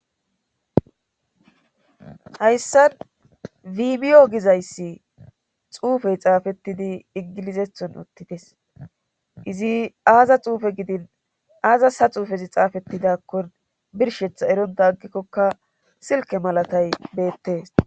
hayssan video gizayssi xuufey xaafettidi ingilizethon uttides izi aaza xuufe gidin aaza ha xuufezi xaafettidakkon birshetha eronta aggikkokka silke malatay beettes